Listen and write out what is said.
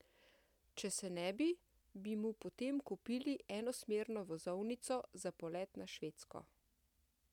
Če se ne bi, bi mu potem kupili enosmerno vozovnico za polet na Švedsko.